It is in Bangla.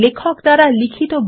3